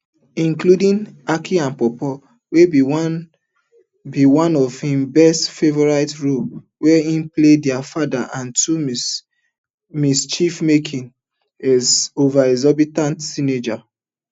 including aki and paw paw wey be one be one of im best favourite roles wia hin play di father of two mischiefmaking overexhorbitant teenager